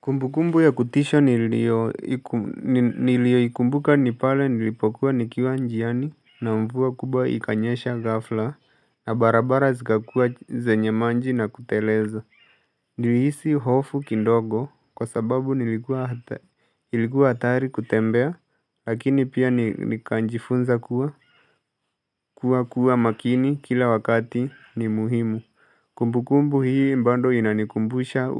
Kumbukumbu ya kutisha niliyoikumbuka ni pale nilipokuwa nikiwa njiani na mvua kubwa ikanyesha ghafla na barabara zikakua zenye maji na kutelez Niliisi hofu kidogo kwa sababu nilikuwa hatari kutembea lakini pia nikajifunza kuwa kuwa kuwa makini kila wakati ni muhimu Kumbukumbu hii bado inanikumbusha